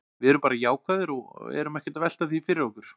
Við erum bara jákvæðir og erum ekkert að velta því fyrir okkur.